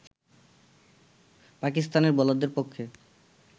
পাকিস্তানের বোলারদের পক্ষে